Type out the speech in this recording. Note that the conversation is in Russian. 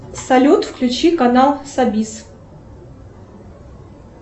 салют включи канал сабис